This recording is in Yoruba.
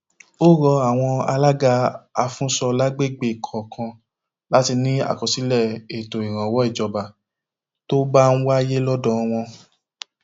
ó rọ àwọn alága afúnńso lágbègbè kọọkan láti ní àkọsílẹ ètò ìrànwọ ìjọba tó bá ń wáyé lọdọ wọn